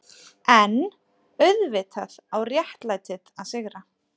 EN auðvitað á réttlætið að sigra.